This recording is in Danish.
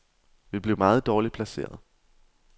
Vi blev meget dårligt placeret.